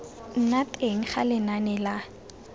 nna teng ga lenane la